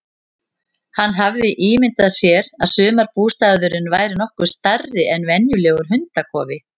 Hann hafði ímyndað sér að sumarbústaðurinn væri nokkuð stærri en venjulegur hundakofi.